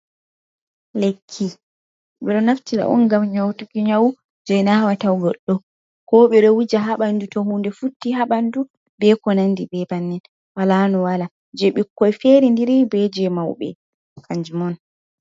Lekki ɓe ɗo naftira on ngam nyautuki nyawu je nawata goɗɗo ko ɓe wuja ha ɓanɗu to hunde futti ha ɓanɗu be ko nandi be banin wala no wala, je ɓikkoi ferindiri be je mauɓe kanjum on.